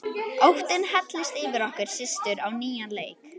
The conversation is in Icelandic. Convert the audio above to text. Óttinn helltist yfir okkur systur á nýjan leik.